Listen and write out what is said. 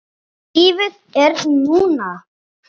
Lífið er núna!